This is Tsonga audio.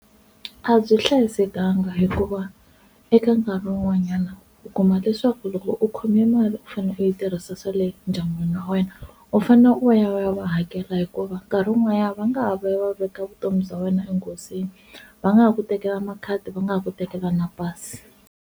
A byi hlayisekangi hikuva eka nkarhi wun'wanyana u kuma leswaku loko u khome mali u fane u yi tirhisa swale endyangwini wa wena u fanele u ya va ya va hakela, hikuva nkarhi wun'wanyana va nga ha va ya va veka vutomi bya wena enghozini va nga ha ku tekela makhadi va nga ha ku tekela na pasi.